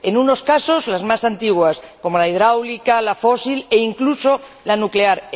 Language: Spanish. En unos casos, las más antiguas, como la hidráulica, la fósil e incluso, la nuclear